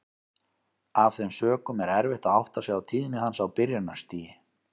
Af þeim sökum er erfitt að átta sig á tíðni hans á byrjunarstigi.